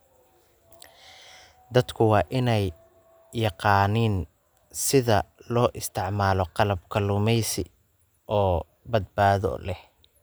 Dadku waa inay yaqaaniin sida loo isticmaalo qalab kalluumaysi oo badbaado leh.